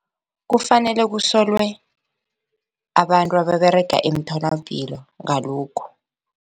Kufanele kusolwe abantu ababerega emtholapilo ngalokhu.